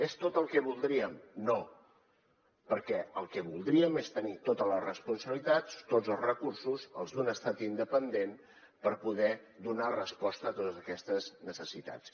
és tot el que voldríem no perquè el que voldríem és tenir totes les responsabilitats tots els recursos els d’un estat independent per poder donar resposta a totes aquestes necessitats